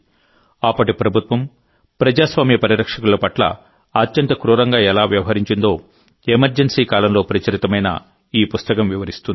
అప్పటి ప్రభుత్వం ప్రజాస్వామ్య పరిరక్షకుల పట్ల అత్యంత క్రూరంగా ఎలా వ్యవహరించిందో ఎమర్జెన్సీ కాలంలో ప్రచురితమైన ఈ పుస్తకం వివరిస్తుంది